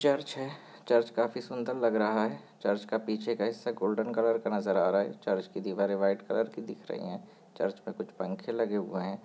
Church है church काफी सुंदर लग रहा है चर्च का पीछे का हिस्सा गोल्डन कलर का नज़र आ रहा है चर्च की दीवारे व्हाइट कलर की दिख रही है चर्च मे कुछ पंखे लगे हुए है।